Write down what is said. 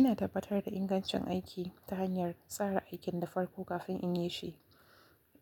Ina tabbatar da ingancin aiki ta hanyar tsara aikin da farko kafin in yi shi.